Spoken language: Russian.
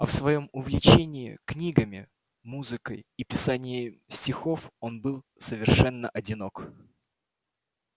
а в своём увлечении книгами музыкой и писанием стихов он был совершенно одинок